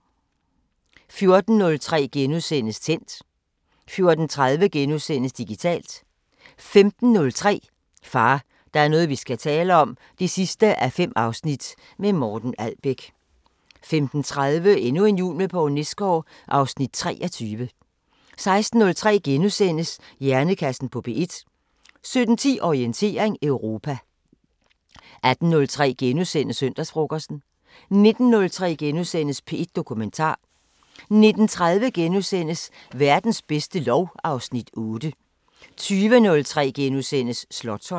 14:03: Tændt * 14:30: Digitalt * 15:03: Far, der er noget vi skal tale om 5:5 – med Morten Albæk 15:30: Endnu en jul med Poul Nesgaard (Afs. 23) 16:03: Hjernekassen på P1 * 17:10: Orientering Europa 18:03: Søndagsfrokosten * 19:03: P1 Dokumentar * 19:30: Verdens bedste lov (Afs. 8)* 20:03: Slotsholmen *